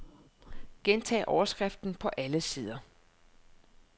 Gentag overskriften på alle sider.